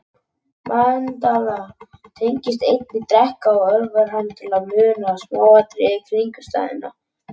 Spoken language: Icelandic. Mandla tengist einnig dreka og örvar hann til að muna smáatriði kringumstæðna.